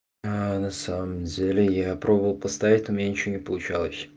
аа на самом деле я пробовал поставить у меня ничего не получалось